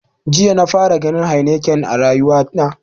Jiya na fara ganin heineken a rayuwa na